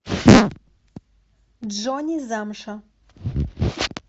джонни замша